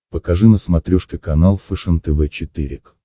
покажи на смотрешке канал фэшен тв четыре к